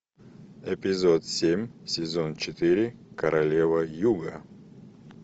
эпизод семь сезон четыре королева юга